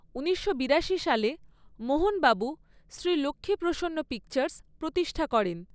ঊনিশশো বিরাশি সালে মোহন বাবু শ্রী লক্ষ্মী প্রসন্ন পিকচার্স প্রতিষ্ঠা করেন।